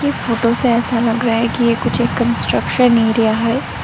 इस फोटो से ऐसा लग रहा है कि ये कुछ एक कंस्ट्रक्शन एरिया है।